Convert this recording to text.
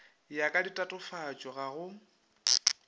ya ka ditatofatšo ga go